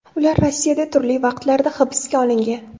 Ular Rossiyada turli vaqtlarda hibsga olingan.